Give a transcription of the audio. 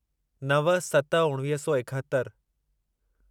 नव सत उणिवीह सौ एकहतरि